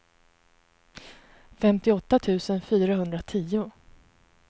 femtioåtta tusen fyrahundratio